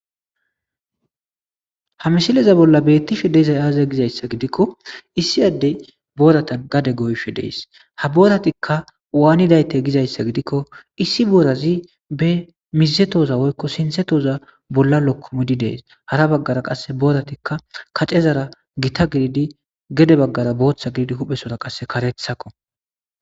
Ha misile bollan beetishe dizay aaze gizaysa gidiko,issi addey booran gade goyishe dees. Ha booratik waanidayte gizaysa gidiko,issi boorazi be sinthe woyko misse tohoza bollan lokkomidi dees. Hara baggara qasse kace bavgara gita giddidi gede bagara bootha gididi huphesora qasse karethako